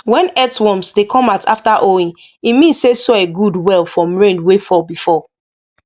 when earthworms dey come out after hoeing e mean say soil good well from rain wey fall before